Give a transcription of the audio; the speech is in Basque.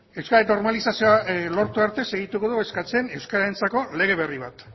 euskararen normalizazioa lortu arte segituko eskatzen euskararentzako lege berri bat